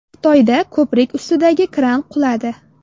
Xitoyda ko‘prik ustidagi kran quladi.